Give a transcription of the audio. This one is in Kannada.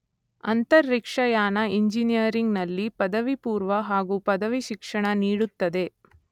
ಅಂತರಿಕ್ಷಯಾನ ಇಂಜಿನಿಯರಿಂಗ್‌ನಲ್ಲಿ ಪದವಿಪೂರ್ವ ಹಾಗು ಪದವಿ ಶಿಕ್ಷಣ ನೀಡುತ್ತದೆ.